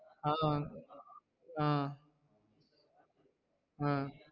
ஆஹ் ஆஹ் ஆஹ்